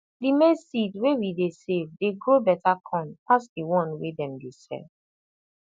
the maize seed wey we dey save dey grow better corn pass the one wey dem dey sell